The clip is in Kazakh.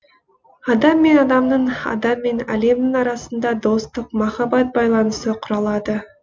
адам мен адамның адам мен әлемнің арасында достық махаббат байланысы құрылады